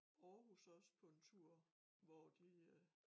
Aarhus også på en tur hvor de øh